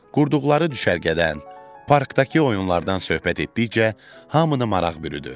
Qurduqları düşərgədən, parkdakı oyunlardan söhbət etdikcə hamını maraq bürüdü.